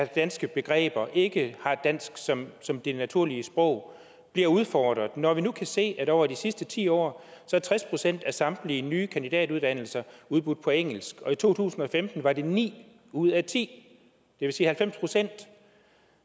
danske begreber og ikke har dansk som som det naturlige sprog at bliver udfordret når vi nu kan se at over de sidste ti år er tres procent af samtlige nye kandidatuddannelser udbudt på engelsk og i to tusind og femten var det ni ud af ti det vil sige halvfems procent